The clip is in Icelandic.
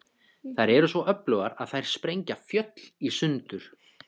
Þær eru svo öflugar að þær sprengja fjöll í sundur.